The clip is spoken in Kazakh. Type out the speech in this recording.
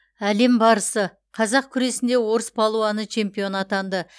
әлем барысы қазақ күресінде орыс палуаны чемпион атанды